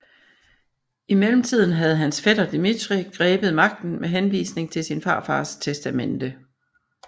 I mellemtiden havde hans fætter Dmitrij grebet magten med henvisning til sin farfaders testamente